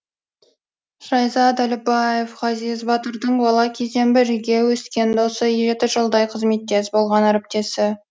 шайзат әліпбаев ғазиз батырдың бала кезден бірге өскен досы жеті жылдай қызметтес болған әріптесі